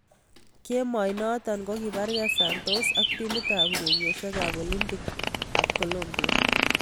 Kemoi noto kokiparke Santos ak timit ab urerosiek ab Olympic ab Colombia.